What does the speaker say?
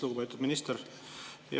Lugupeetud minister!